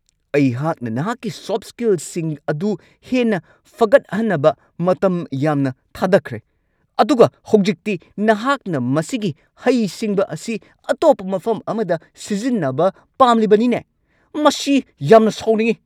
ꯑꯩꯍꯥꯛꯅ ꯅꯍꯥꯛꯀꯤ ꯁꯣꯐꯠ ꯁ꯭ꯀꯤꯜꯁꯤꯡ ꯑꯗꯨ ꯍꯦꯟꯅ ꯐꯒꯠꯍꯟꯅꯕ ꯃꯇꯝ ꯌꯥꯝꯅ ꯊꯥꯗꯈ꯭ꯔꯦ, ꯑꯗꯨꯒ ꯍꯧꯖꯤꯛꯇꯤ ꯅꯍꯥꯛꯅ ꯃꯁꯤꯒꯤ ꯍꯩꯁꯤꯡꯕ ꯑꯁꯤ ꯑꯇꯣꯞꯄ ꯃꯐꯝ ꯑꯃꯗ ꯁꯤꯖꯤꯟꯅꯕ ꯄꯥꯝꯂꯤꯕꯅꯤꯅꯦ ? ꯃꯁꯤ ꯌꯥꯝꯅ ꯁꯥꯎꯅꯤꯡꯉꯤ ꯫